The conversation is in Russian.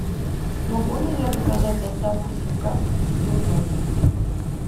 могу ли я заказать доставку сим карты себе в номер